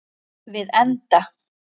Við enda